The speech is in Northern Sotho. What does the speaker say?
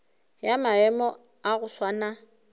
ya maemo a go swana